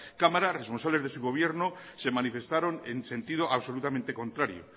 cámara responsables de su gobierno se manifestaron en sentido absolutamente contrario